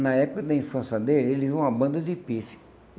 Na época da infância dele, ele viu uma banda de pifes.